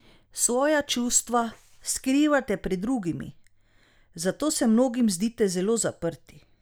Svoja čustva skrivate pred drugimi, zato se mnogim zdite zelo zaprti.